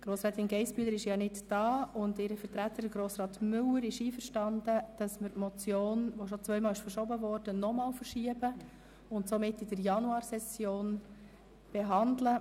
Grossrätin Geissbühler ist nicht anwesend, und ihr Vertreter, Grossrat Müller, ist damit einverstanden, dass wir die Motion, die bereits zweimal verschoben wurde, nochmals verschieben und in der Januarsession behandeln.